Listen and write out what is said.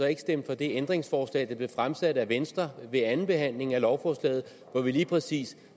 ikke stemte for det ændringsforslag der blev stillet af venstre ved andenbehandlingen af lovforslaget hvori vi lige præcis